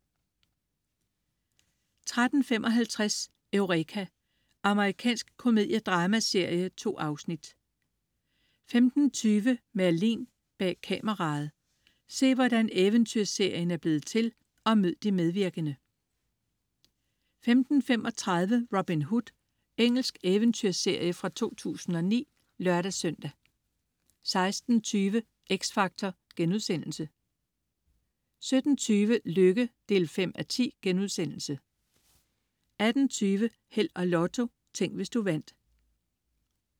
13.55 Eureka. Amerikansk komediedramaserie. 2 afsnit 15.20 Merlin: Bag kameraet. Se, hvordan eventyrserien er blevet til, og mød de medvirkende 15.35 Robin Hood. Engelsk eventyrserie fra 2009 (lør-søn) 16.20 X Factor* 17.20 Lykke 5:10* 18.20 Held og Lotto. Tænk, hvis du vandt